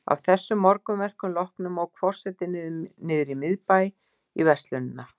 Að þessum morgunverkum loknum ók forseti niður í miðbæ, í verslunina